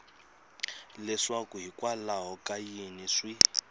leswaku hikwalaho ka yini swi